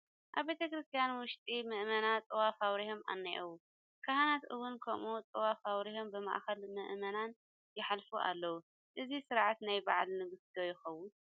ኣብ ቤተ ክርስቲያ ውሽጢ ምእመናን ጥዋፍ ኣብሪሆም እኔዉ፡፡ ካህናት እውን ከምኡ ጥዋፍ ኣብሪሆም ብማእኸል ምእመናን ይሓልፉ ኣለዉ፡፡ እዚ ስርዓት ናይ በዓለ ንግስ ዶ ይኸውን?